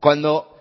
cuando